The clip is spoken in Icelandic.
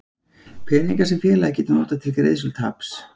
peningar sem félagið getur notað til greiðslu taps.